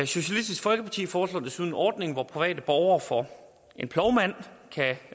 socialistisk folkeparti foreslår desuden en ordning hvor private borgere for en plovmand kan